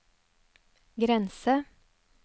grense